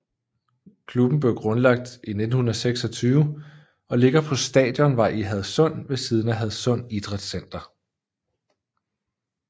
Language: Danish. Klubben blev grundlagt 1926 og ligger på Stadionvej i Hadsund ved siden af Hadsund Idrætscenter